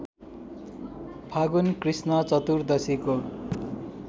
फागुन कृष्ण चतुर्दशीको